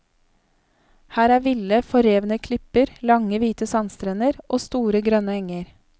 Her er ville, forrevne klipper, lange hvite sandstrender og store grønne enger.